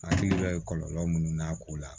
Hakili bɛ kɔlɔlɔ munnu n'a ko la